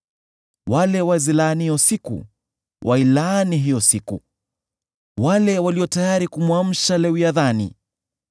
Wale wazilaanio siku wailaani hiyo siku, wale walio tayari kumwamsha Lewiathani.